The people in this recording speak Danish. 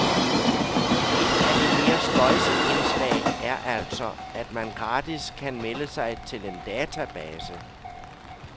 Ét af de mere spøjse indslag er altså, at man gratis kan melde sig til en database.